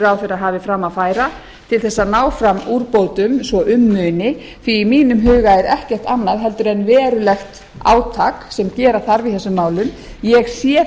ráðherra hafi fram að færa til þess að ná fram úrbótum svo um muni því í mínum huga er ekkert annað heldur en verulegt átak sem gera þarf í þessum málum ég sé